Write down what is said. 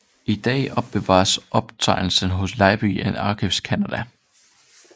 I dag opbevares optegnelserne hos Library and Archives Canada